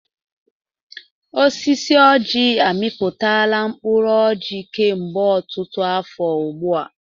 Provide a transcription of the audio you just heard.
Osisi ọjị amịpụtala mkpụrụ ọjị kemgbe ọtụtụ afọ ugbu a.